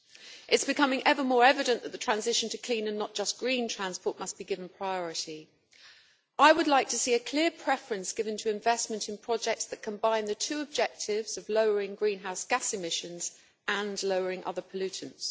It is becoming ever more evident that the transition to clean and not just green transport must be given priority. I would like to see a clear preference given to investment in projects that combine the two objectives of lowering greenhouse gas emissions, and lowering other pollutants.